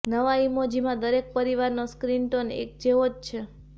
નવા ઈમોજીમાં દરેક પરિવારનો સ્કિન ટોન એક જેવો જ છે